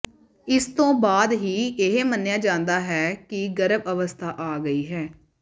ਇਸ ਤੋਂ ਬਾਅਦ ਹੀ ਇਹ ਮੰਨਿਆ ਜਾਂਦਾ ਹੈ ਕਿ ਗਰਭ ਅਵਸਥਾ ਆ ਗਈ ਹੈ